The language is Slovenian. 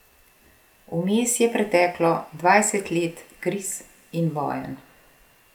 Vmes je preteklo dvajset let kriz in vojn.